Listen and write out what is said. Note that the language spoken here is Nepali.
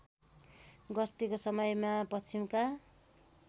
गस्तीको समयमा पश्चिमका